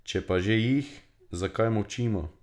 Če pa že jih, zakaj molčimo?